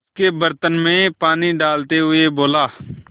उसके बर्तन में पानी डालते हुए बोला